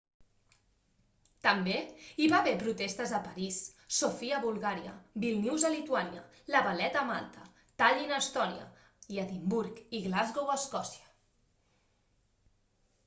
també hi va haver protestes a parís sofia a bulgària vílnius a lituània la valetta a malta tallin a estònia i edimburg i glasgow a escòcia